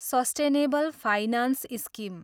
sustainable finance scheme